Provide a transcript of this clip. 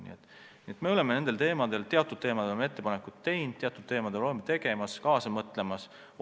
Nii et me oleme teatud teemadel oma ettepanekud teinud, teatud teemadel oleme neid tegemas ja kaasa mõtlemas.